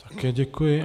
Také děkuji.